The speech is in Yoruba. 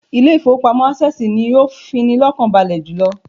Ilé ìfowópamọ́ Access ni ó fini lọ́kàn balè jùlọ